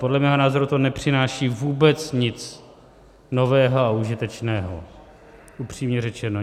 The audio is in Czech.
Podle mého názoru to nepřináší vůbec nic nového a užitečného, upřímně řečeno.